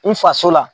N faso la